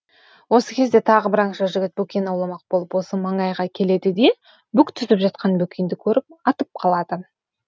осы кезде тағы бір аңшы жігіт бөкен ауламақ болып осы маңайға келеді де бүк түсіп жатқан бөкенді көріп атып қалады